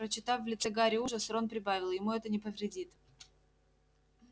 прочитав в лице гарри ужас рон прибавил ему это не повредит